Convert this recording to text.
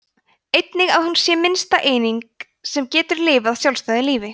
einnig að hún sé minnsta eining sem getur lifað sjálfstæðu lífi